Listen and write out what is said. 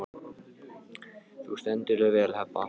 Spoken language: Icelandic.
Þú stendur þig vel, Heba!